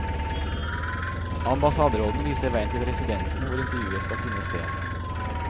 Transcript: Ambassaderåden viser veien til residensen hvor intervjuet skal finne sted.